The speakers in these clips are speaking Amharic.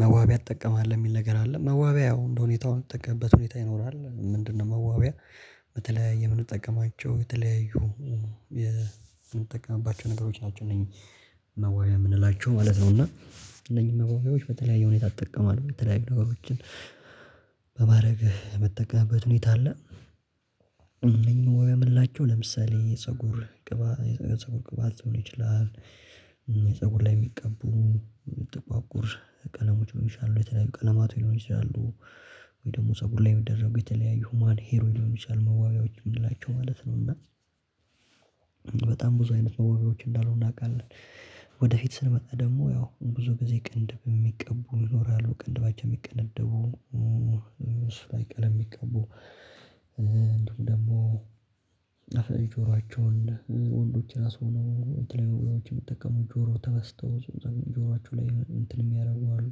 መዋቢያ ትጠቀማለህ የሚል ነገር አይደለም መዋቢያ ያው እንደሁኔታው የምትጠቀምበት ሁኔታ ይኖራል ምንድነው? መዋቢያ በተለያየ የምንጠቀማቸው የተለያዩ የምንጠቀምባቸው ነገሮች ናቸው እነዋያ መዋቂያ የምንላቸው ማለት ነው። እና እነኚህ መዋቂያዎች በተለያዩ ሁኔታ አትጠቀምም የተለያየ ነገሮችን በማድረግ የምትጠቀምበት ሁኔታ አለ ወይ የምላቸው ለምሳሌ ፀጉር ቅባት የፀጉር ቅባት ሊሆን ይችላል። የፀጉር ላይ የሚቀበሉ ጥቋቁር ቀለሞች ሊሆኑ ይችላሉ የተለያዩ ቀለማቱ ይሆናሉ ወይ ደግሞ ፀጉር ላይ የሚደረጉ የተለያዩ ሂውማን ሄሮች ይሆናሉ መዋቢያዎች የምንላቸው ማለት ነው። እና በጣም ብዙ አይነት ነው ወይሶች እንዳሉ እናውቃለን። ወደፊት ስንመጣ ደግሞ ያው ብዙ ጊዜ ቅንድብ የሚቀቡ ዞር ያለው ቅንድባቸው የሚቀነደቡ እንደው ደግሞ ተፈጥሮአቸውን ወንዶች ራሱ ነው የተለያዩ ብሎች የሚጠቀሙት ጆሮ ተበስተው ጆሯቸው ላይ እንትን የሚያደርጉ አሉ።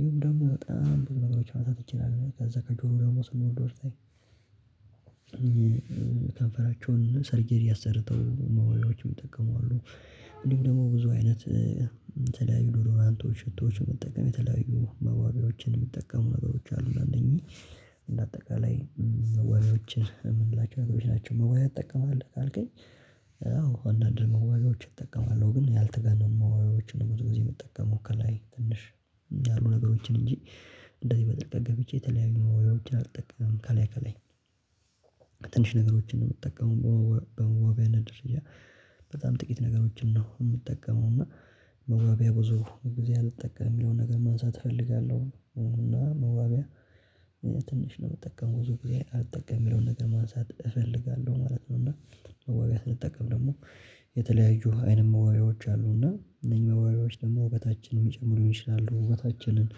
ይሄም ደግሞ በጣም ብዙ መጥቶ ትችላለህ ከዛ ከጆሮ ደግሞ ስንወድ ወደዛኝ ከንፈራቸውን ሰርጀር አሠርተው መዋያዎችም የሚጠቀሙ አሉ። እንዲሁም ደግሞ ብዙ አይነት የተለያዩ ዳድራንቶች ሽቶዎች ሽቶዎች መጠቀም የተለያዩ መዋቢያዎችን የሚጠቀሙ ነገሮች አሉ እነኚህ እንደ አጠቃላይ ወርችን የምንላቸው አጥቦች ናቸው መወያያ ይጠቀማል ካልከኝ አዎ አንዳንድ መዋጋዎች እጠቀማለሁ። ግን ያልተገነሙ ነው የምትጠቀመው ከላይ ትንሽ ያሉ ነገሮችን እንጂ እንደዚህ በጥልቀት ገብቼ የተለያዩ መውሪያዎችን አልጠቀምም። ካላየ ካላየ ነገሮችን ነው የምትጠቀመው በዋቢያነት ድርጅት በጣም ጥቂት ነገሮችን ነው የምጠቀመው እና መዋቢያ ብዙ እንግዲህ አልጠቀም የሚለውን ነገር ማንሳት እፈልጋለሁ እና መዋቢያ ትንሽ ነው የምጠቀመው ብዙ ጊዜ አልጠቀም የሚለውን ነገር ማንሳት እፈልጋለሁ ማለት ነው። እና መዋቢያ ስንጠቀም ደግሞ የተለያዩ አይነት መዋዕታችን አሉና እነዚህ መዋቢያወዎችን ደግሞ ወበታችን የሚጨምሩ ይሆናሉ ውበታችንን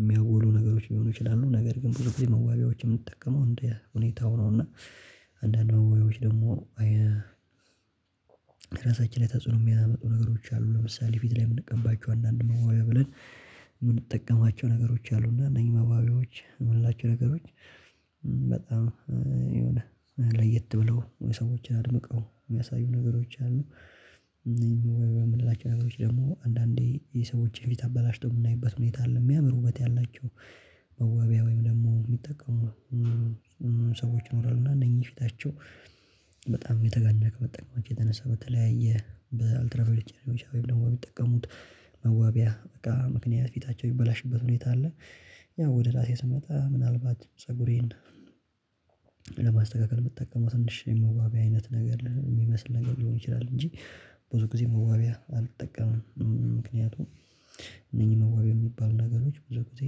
የሚያጎሉ ነገሮች ሊሆኑ ይችላሉ። ነገር ግን ብዙ ብዬ መዋቢያዎች የምጠቀመው እንዴ ሁኔታው ነው እና አንዳንድ በወይዎች ደግሞ ራሳችን ላይ ተጽዕኖ የሚያመጡ ነገሮች አሉ ለምሳሌ ፊት ላይ የምንቀባቸው አንዳንድ መዋጋ ብለን የምንጠቀማቸው ነገሮች አሉ። እና እነዚህ መባቢያዎች የምንላቸው ነገሮች በጣም የሆነ ለየት ብለው የሰዎችን አድምቀው የሚያሳዩ ነገሮች አሉ። ወይ ወይ ወይ የምንላቸው አገሮች ደግሞ አንዳንዴ የሰዎችን ቪት አበላሽቶ የምናይበት ሁኔታ አለ የሚያምሩበት ያላቸው መዋቢያ ወይም ደግሞ የሚጠቀሙ ሰዎች ይኖራሉ እና እነኚህ ፊታቸው በጣም የተጋለቀ መጠቀማቸው የተነሳ በተለያየ በአልትራቫዮሌት ጨረሮች ወይም ደግሞ የሚጠቀሙት መዋቢያ በቃ ምክንያት ፊታቸው ይበላሽበት ሁኔታ አለ። ያው ወደ ራሴ ስመጣ ምናልባት ፀጉሬን ለማስተካከል ብትጠቀሙት ትንሽ የመዋቢያ አይነት ነገር የሚመስል ነገር ሊሆን ይችላል እንጂ ብዙ ጊዜ መዋቢያ አልጠቀምም። ምክንያቱም እነዚህ መዋቢያ የሚባሉ ነገሮች ብዙ ጊዜ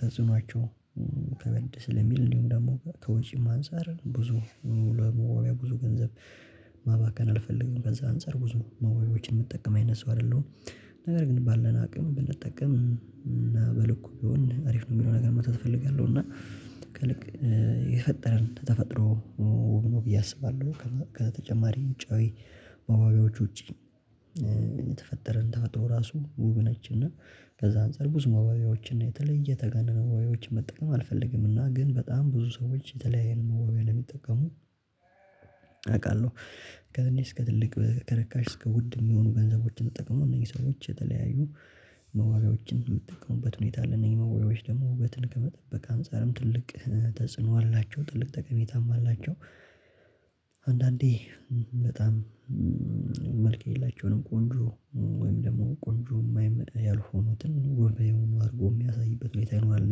ተጽኗቸው ከበድ ስለሚል እንዲሁም ደግሞ ከወጪም አንፃር ብዙ ለመወያ ብዙ ገንዘብ ማባከን አልፈልግም ከዛ አንፃር ብዙ መወያየቶችን የምትጠቀም አይነት ሰው አይደለሁም። ነገር ግን ባለን አቅም ብንጠቀም እና በልኩ ቢሆን አሪፍ ነው የሚለው ነገር መታተፍ እፈልጋለሁ እና ልክ የፈጠረን ተፈጥሮ ውብ ነው ብዬ አስባለሁ። ከተጨማሪ ውጫዊ ባባዎች ውጪ የተፈጠረን ተፈጥሮ ራሱ ውብ ነች እና በዛ አንፃር ብዙ መዋባያዎችና የተለየ የተጋነነ መዋቢያዎች መጠቀም አልፈልግምና። ግን በጣም ብዙ ሰዎች የተለያየ ነው መዋቢያ ያለመጠቀሙ አውቃለሁ ከእኔ እስከ ትልቅ ከርካሽ እስከ ውድ የሚሆኑ ገንዘቦችን ተጠቅሞ እነዚህ ሰዎች የተለያዩ መዋቢያዎችን የሚጠቀሙበት ሁኔታ አለ እነዚህ መዋቢያዎች ደግሞ በትልቅ ከመጠበቅ አንፃርም ትልቅ ተጽዕኖ አላቸው ትልቅ ጠቀሜታም አላቸው። አንዳንዴ በጣም መልኬ የላቸውንም ቆንጆ ወይም ደግሞ ቆንጆ የማይመስል ያልሆኑትን ወይ የሆኑ አድርጎ የሚያሳይበት ቤት አይኖርም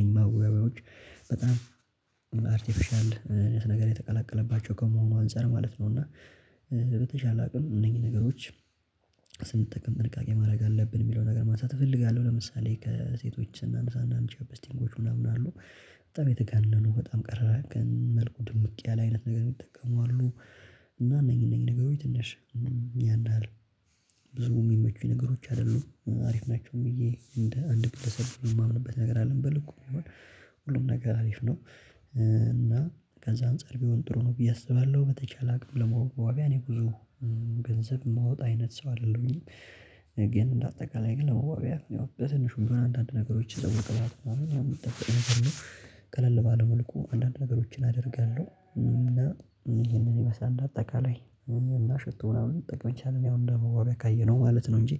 ነኝ ማወቃውያዎች በጣም አርቲፊሻል ነገር የተቀላቀለባቸው ከመሆኑ አንፃር ማለት ነው። እና በተሻለ አቅም እነኚህ ነገሮች ስንጠቀም ጥንቃቄ ማድረግ አለብን የሚለው ነገር ማንሳት እፈልጋለሁ። ለምሳሌ ከሴቶች እና ምሳሌ አምሳ እና ቻፕ በስቲንጎች ምናምን አሉ በጣም የተጋነኑ በጣም ቀረራ ግን መልኩ ድምቅ ያለ አይነት ነገር የሚጠቀሙ አሉ። እና እነኚህ እነኚህ ነገሮች ትንሽ ያን አለ ብዙ የሚመቹ ነገሮች አይደሉም አሪፍ ናቸውም ብዬ እንደ አንድ ቅድመ ሰርቶ የማምንበት ነገር አልንበል እኮ ይሆን ሁሉም ነገር አሪፍ ነው። እና ከዛም ፀጉር ቢሆን ጥሩ ነው ብዬ አስባለሁ በተቻለ አቅም ለመዋቢያ እኔ ጉዞ ገንዘብ የማወጣ አይነት ሰው አይደለሁኝም። ግን እንደ አጠቃላይ ግን ለውጥ ያው በትንሹ አንዳንድ ነገሮች የጠወቅባት አሉ ቀለል ባለው መልኩ አንዳንድ ነገሮችን አደርጋለሁ። እና ይሄንን ይመስላል አጠቃላይ እና ሽቶ ምናምን ጠቅመኝ ቻልን ያው እንደ መዋቢያ ካየነው ማለት ነው። እንጂ